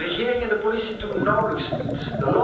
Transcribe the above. De regering en de politie doen nauwelijks iets.